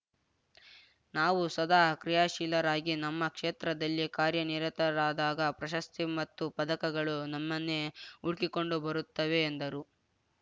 ನಾವು ಸದಾ ಕ್ರಿಯಾಶೀಲರಾಗಿ ನಮ್ಮ ಕ್ಷೇತ್ರದಲ್ಲಿ ಕಾರ್ಯನಿರತರಾದಾಗ ಪ್ರಶಸ್ತಿ ಮತ್ತು ಪದಕಗಳು ನಮ್ಮನ್ನೇ ಹುಡುಕಿಕೊಂಡು ಬರುತ್ತವೆ ಎಂದರು